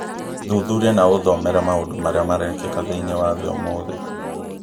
Thuthuria na ũthomere maũndũ marĩa marekĩka thĩinĩ wa thĩ ũmũthĩ